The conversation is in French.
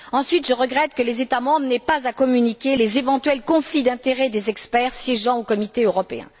Ensuite, je regrette que les États membres n'aient pas à communiquer les éventuels conflits d'intérêts des experts siégeant au comité européen.